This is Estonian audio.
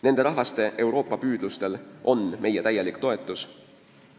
Nende rahvaste Euroopa-püüdlustel on meie täielik toetus.